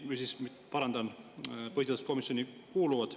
Ma võin muidugi nimed ette lugeda, kes põhiseaduskomisjoni kuuluvad.